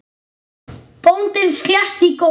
Bóndinn sletti í góm.